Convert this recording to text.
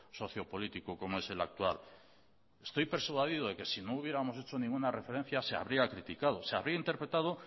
sociopolítico como es el actual estoy persuadido de que si no hubiéramos hecho ninguna referencia se habría criticado se habría interpretado